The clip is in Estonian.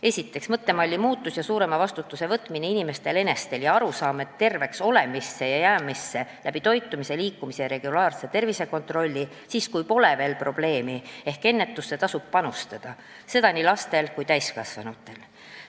Esiteks, mõttemalli muutus ja see, et inimesed ise peavad võtma suurema vastutuse, ning arusaam, et terve olemisse ja terveks jäämisse toitumise, liikumise ja regulaarse tervisekontrolli abil siis, kui pole veel probleemi, ehk ennetusse tasub panustada, seda nii laste kui ka täiskasvanute puhul.